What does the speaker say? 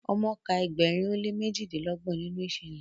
omo kà Egberin o le mejidinlọgbọn ninu iṣẹlẹ